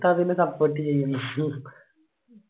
ഉസ്താദിന support ചെയ്യുന്നു.